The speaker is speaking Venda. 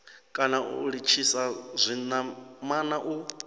kana u litshisa zwinamana u